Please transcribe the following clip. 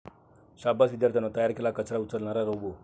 शाब्बास विद्यार्थ्यांनो, तयार केला कचरा उचलणारा रोबो!